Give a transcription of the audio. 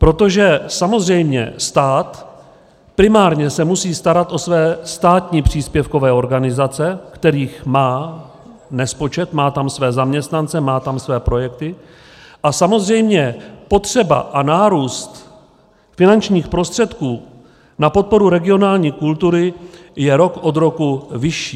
Protože samozřejmě stát primárně se musí starat o své státní příspěvkové organizace, kterých má nespočet, má tam své zaměstnance, má tam své projekty, a samozřejmě potřeba a nárůst finančních prostředků na podporu regionální kultury je rok od roku vyšší.